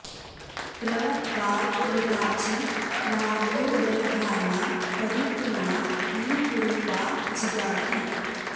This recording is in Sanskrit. प्र वां॑ घृ॒ताची॑ बा॒ह्वोर्दधा॑ना॒ परि॒ त्मना॒ विषु॑रूपा जिगाति